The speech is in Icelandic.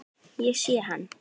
Ég sé hann.